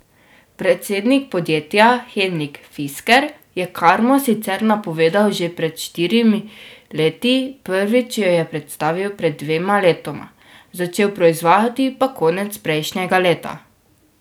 Predsednik podjetja, Henrik Fisker, je karmo sicer napovedal že pred štirimi leti, prvič jo je predstavil pred dvema letoma, začel proizvajati pa konec prejšnjega leta.